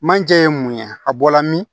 Manje ye mun ye a bɔla min